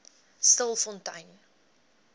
stilfontein